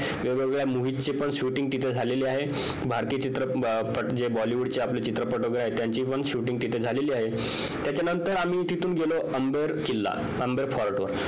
वेगवेगळ्या movie चे पण shooting तिथं झालेलं आहे भारतीय चित्रपटजे bollywood चे चित्रपट आहेत त्याची पण shooting झालेली आहे त्याच्या नंतर आम्ही तिथून गेलो अंबर किल्ला अंबर fort वर